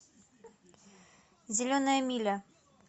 зеленая миля